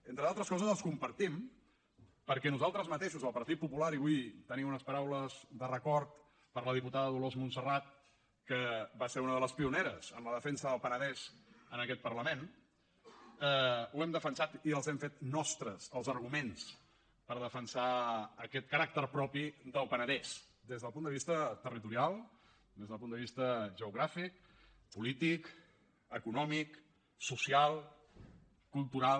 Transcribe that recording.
entre d’altres coses els compartim perquè nosaltres mateixos el partit popular i vull tenir unes paraules de record per a la diputada dolors montserrat que va ser una de les pioneres en la defensa del penedès en aquest parlament ho hem defensat i els hem fet nostres els arguments per defensar aquest caràcter propi del penedès des del punt de vista territorial des del punt de vista geogràfic polític econòmic social cultural